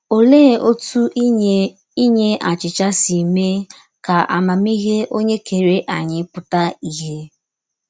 Òlee òtú ínyè ínyè àchịchà sī mée kà àmámíhè Onye Kèrè ányì pútà ìhè?